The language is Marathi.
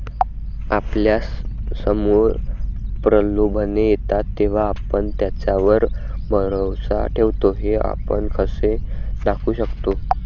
आपल्यासमोर प्रलोभने येतात तेव्हा आपण त्याच्यावर भरवसा ठेवतो हे आपण कसे दाखवू शकतो?